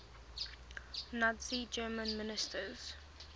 nazi germany ministers